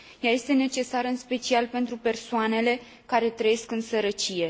Ea este necesară în special pentru persoanele care trăiesc în sărăcie.